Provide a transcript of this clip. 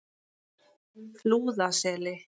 Flúðaseli